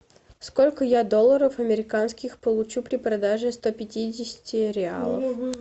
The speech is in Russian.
сколько я долларов американских получу при продаже ста пятидесяти реалов